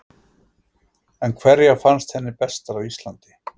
En hverjar fannst henni bestar hjá Íslandi?